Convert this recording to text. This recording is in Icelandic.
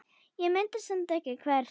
Ég mundi samt ekki hvert.